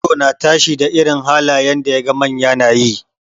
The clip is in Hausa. Yaro na tashi da irin halayen da yaga manya nayi.